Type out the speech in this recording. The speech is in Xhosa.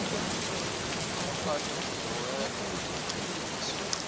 bafane ungowedwa amacebiso